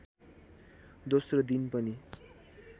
दोस्रो दिन पनि